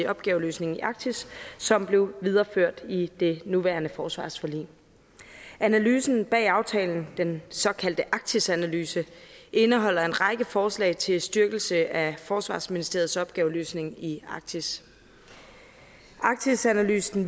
opgaveløsning i arktis som blev videreført i det nuværende forsvarsforlig analysen bag aftalen den såkaldte arktisanalyse indeholder en række forslag til styrkelse af forsvarsministeriets opgaveløsning i arktis arktisanalysen